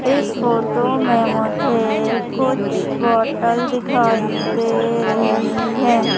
इस फोटो में मुझे कुछ बॉटल दिखाई दे रही है।